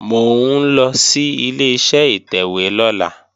Mò ń lọ sí Ileṣẹ́ ìtẹ̀wé lọ́la